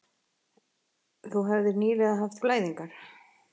Þú hefðir nýlega haft blæðingar.